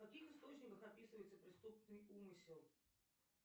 в каких источниках описывается преступный умысел